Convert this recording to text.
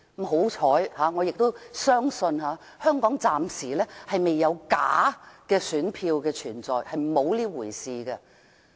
幸好，我相信香港暫時沒有假選票存在，沒有這回事。